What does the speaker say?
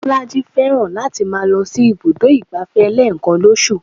Bolaji fẹ́ràn láti máa lọ sí ibùdó ìgbáfẹ́ lẹ́ẹ̀kan lóṣù